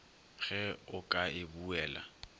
ge o ka e buela